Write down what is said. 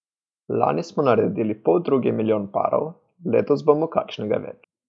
Lani smo naredili poldrugi milijon parov, letos bomo kakšnega več.